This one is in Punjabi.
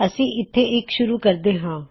ਅਸੀਂ ਇੱਥੇ ਇੱਕ ਸੁਰੂ ਕਰਦੇ ਹਾਂ